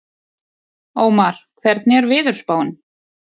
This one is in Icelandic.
Ómar, hvernig er veðurspáin?